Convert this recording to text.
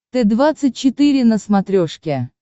т двадцать четыре на смотрешке